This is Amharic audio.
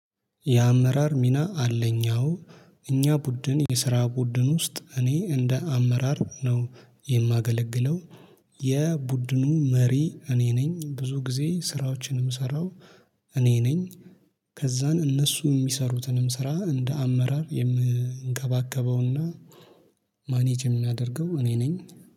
የአመራር ሚና አለኝ አዎ እኛ ቡድን የስራ ቡድን ውስጥ እኔ እንደ አመራር ነው የማገለግለው። የቡድኑ መሪ እኔ ነኝ ብዙ ጊዜ ስራዎችንም የምሰራው እኔ ነኝ። ከዛን እነሱ የሚሰሩትንም ስራ እንደ አመራር የምንከባከበውና ማኔጅ የምናደርገው እኔ ነኝ